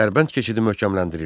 Dərbənd keçidi möhkəmləndirildi.